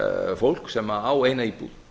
fólk sem á eina íbúð